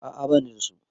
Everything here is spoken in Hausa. A'a bani da su.